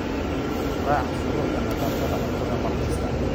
Raac shuruucda nadaafadda cuntada mar kasta.